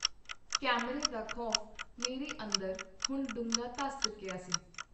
ਕੈਮਰੇ ਦਾ ਖੌਫ ਮੇਰੇ ਅੰਦਰ ਹੁਣ ਡੂੰਘਾ ਧੱਸ ਚੁੱਕੀਆ ਸੀ.